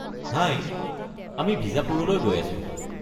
হাই, আমি বিজাপুৰলৈ গৈ আছো।